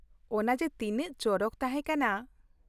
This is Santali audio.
ᱚᱱᱟ ᱡᱮ ᱛᱤᱱᱟᱹᱜ ᱪᱚᱨᱚᱠ ᱛᱟᱦᱮᱸ ᱠᱟᱱᱟ ᱾